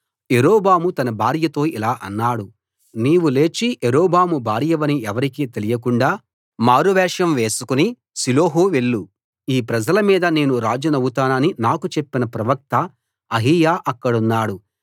యరొబాము తన భార్యతో ఇలా అన్నాడు నీవు లేచి యరొబాము భార్యవని ఎవరికీ తెలియకుండా మారువేషం వేసుకుని షిలోహు వెళ్ళు ఈ ప్రజల మీద నేను రాజునవుతానని నాకు చెప్పిన ప్రవక్త అహీయా అక్కడున్నాడు